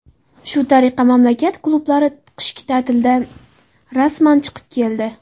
Shu tariqa mamlakat klublari qishki ta’tildan rasman chiqib keldi.